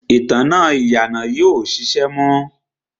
ìtanná ìyànà yìí ò ṣiṣẹ́ mọ́.